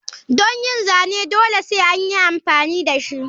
Don yin zane dole sai anyi amfani dashi.